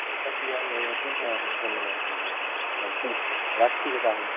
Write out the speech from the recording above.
concept টা clear হয়ে গেছে হ্যাঁ হ্যাঁ ধন্যবাদ ধন্যবাদ রাখছিরে তাহলে